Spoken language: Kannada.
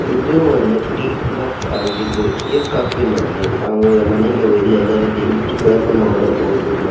ಇದು ಒಂದು ಟಿ ಕಫ್ ಆಗಿದ್ದು ಈ ಕಪ್ ನಲ್ಲಿ ನಾವು ಮನೆಗೆ ಹೋಗಿ ಗಿಫ್ಟ್ ಗಳನ್ನೂ ಮಾಡಬಹುದು ಮತ್ತು --